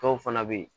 Dɔw fana bɛ yen